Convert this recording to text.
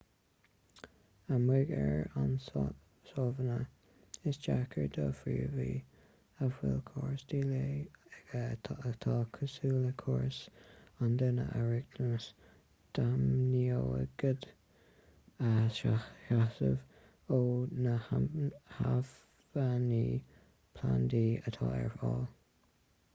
amuigh ar an sabhána is deacair do phríomhaí a bhfuil córas díleá aige atá cosúil le córas an duine a riachtanais d'aimíonaigéid a shásamh ó na hacmhainní plandaí atá ar fáil